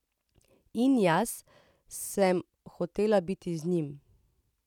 In jaz sem hotela biti z njim.